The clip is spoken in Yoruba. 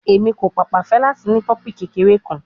Emi ko paapaa fẹ lati ni pimple kekere kan